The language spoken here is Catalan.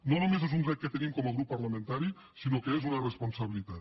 no només és un dret que tenim com a grup parlamentari sinó que és una responsabilitat